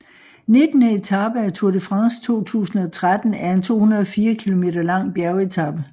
Nittende etape af Tour de France 2013 er en 204 km lang bjergetape